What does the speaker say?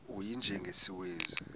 u y njengesiwezi